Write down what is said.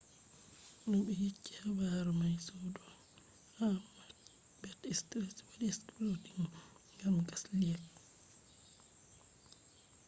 no ɓe yecci habaru mai sudu ha macbeth street wadi exploding gam gas leak